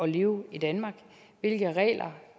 leve i danmark hvilke regler